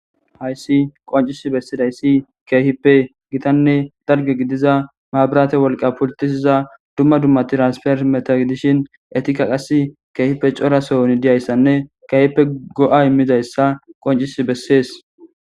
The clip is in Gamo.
Hayssi qoncisi bessidayssi keehippe gitanne darge gidiza maabirate wolqa pultisiza dumma dummati raasper meta idishin etika qas keehippe corasohoni diyayssanne keehippe go'a immizayssa qoncisi bessees